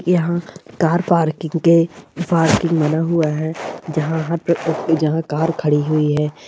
यहाँ car parking के parking बना हुआ हैं जहां पे जहां कार खड़ी हुई है।